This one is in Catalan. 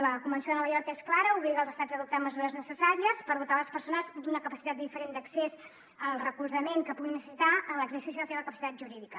la convenció de nova york és clara obliga els estats a adoptar mesures necessàries per dotar les persones d’una capacitat diferent d’accés al recolzament que puguin necessitar en l’exercici de la seva capacitat jurídica